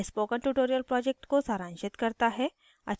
यह spoken tutorial project को सारांशित करता है